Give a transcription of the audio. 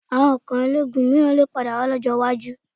Àwọn ikò ológun mìíràn lè padà wà lọ́jọ́ iwájú